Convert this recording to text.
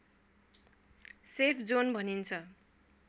safe zone भनिन्छ